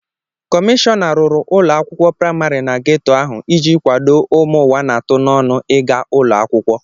Komishọna rụrụ ụlọ akwukwo praịmarị na geto ahụ iji kwado ụmụ ụwa na-atụ n'ọnụ ịga ụlọakwụkwọ.